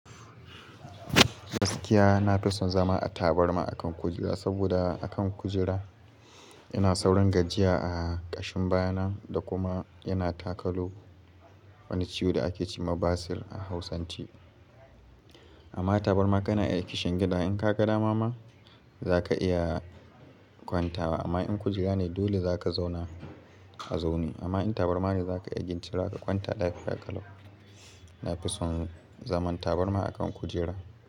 Gaskiya na fi son zama a tabarma akan kujera, saboda a kan kujera yana saurin gajiya a ƙashin baya nan da kuma yana takalu wani ciwo da ake ce ma basir a Hausance. Amma tabarma kana iya kishin gida. In ka ga dama ma za ka iya kwanta wa. Amma in kujera ne dole za ka zauna a zaune. Amma in tabarma ne za ka iya gintu za ka kwanta, lafiya ka lo. Na fi son zaman tabarma a kan kujera.